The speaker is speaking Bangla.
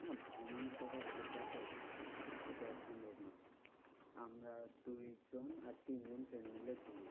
না ভ্রমণের কথার শেষ আছে? এটা সম্ভব না। আমরা দুইজন আর তিনজন মিলে ঘুরি।